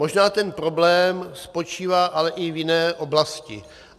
Možná ten problém spočívá ale i v jiné oblasti.